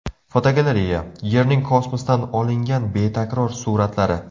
Fotogalereya: Yerning kosmosdan olingan betakror suratlari.